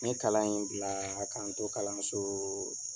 N ye kalan in bila k'a n to to kalan so